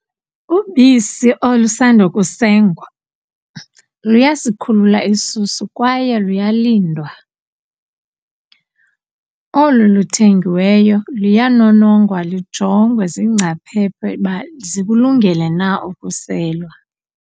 Ubisi olusandukusengwa luyasikhulula isisu kwaye luyalindwa. Olu luthengiweyo luyanonongwa lujongwe ziingcaphephe uba zikulungele na ukuselwa.